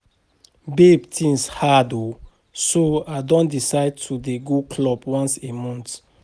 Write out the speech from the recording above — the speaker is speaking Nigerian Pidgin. Babe things hard oo so I don decide to dey go club once a month